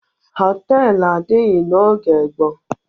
Họtelụ adịghị n'oge gboo.